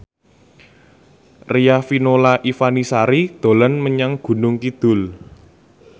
Riafinola Ifani Sari dolan menyang Gunung Kidul